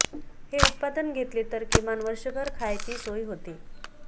हे उत्पादन घेतले तर किमान वर्षभर खायची सोय होते